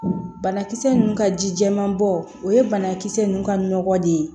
Banakisɛ ninnu ka ji jɛman bɔ o ye banakisɛ ninnu ka nɔgɔ de ye